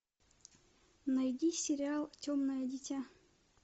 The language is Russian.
найди сериал темное дитя